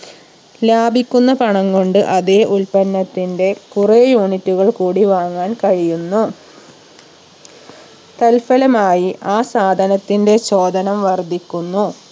ലാഭിക്കുന്ന പണം കൊണ്ട് അതേ ഉൽപ്പന്നത്തിന്റെ കുറെ unit കൾ കൂടി വാങ്ങാൻ കഴിയുന്നു തൽഫലമായി ആ സാധനത്തിന്റെ ചോദനം വർധിക്കുന്നു